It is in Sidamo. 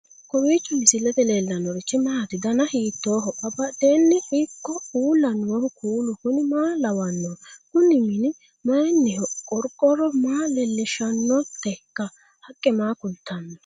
kowiicho misilete leellanorichi maati ? dana hiittooho ?abadhhenni ikko uulla noohu kuulu kuni maa lawannoho? kuni mini mayinniho qorqorro maa leellishshannoteikka haqqe maa kultanno